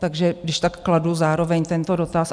Takže když tak kladu zároveň tento dotaz.